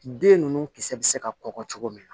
Den ninnu kisɛ bɛ se ka kɔgɔ cogo min na